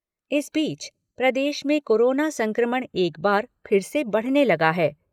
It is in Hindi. इस बीच, प्रदेश में कोरोना संक्रमण एक बार फिर से बढ़ने लगा है।